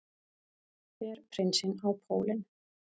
Fer prinsinn á pólinn